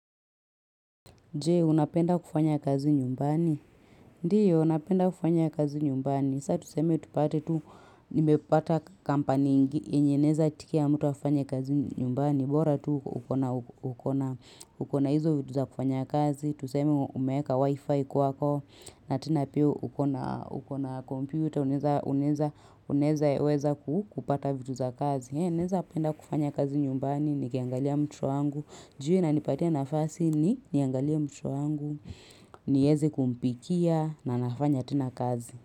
Je, unapenda kufanya kazi nyumbani? Ndiyo, napenda kufanya kazi nyumbani. Sa tuseme, tupate tu, nimepata kampani yenye inaeza itikia mtu afanye kazi nyumbani. Bora tu, uko na hizo vitu za kufanya kazi. Tuseme, umeweka wifi kuwako, na tena pia, uko na kompyuta, unaeza, unaeza, unaeza, weza kupata vitu za kazi. Ee, naezapenda kufanya kazi nyumbani, nikiangalia mtoto wangu. Juu hii inanipatia nafasi niangalia mtoto wangu, nieze kumpikia na nafanya tena kazi.